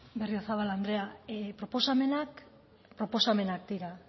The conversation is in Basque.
berriozabal andrea proposamenak proposamenak dira